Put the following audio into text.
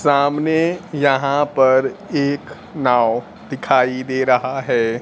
सामने यहां पर एक नाव दिखाई दे रहा है।